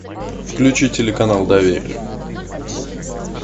включи телеканал доверие